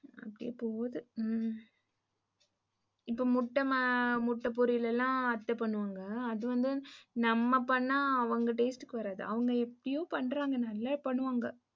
அப்டியே போது ஹ்ம்ம். இப்போ முட்ட பொரியல் எல்லாம் அத்த பண்ணுவாங்க. அது வந்து நம்ம பண்ணா அவங்க tatse க்கு வராது. அவங்க எப்படியோ பண்றாங்க நல்லா பன்னுவாங்க.